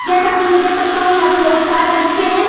जैसा कि मैं देख सकता हूं यहां पर बहोत सारे बच्चे हैं।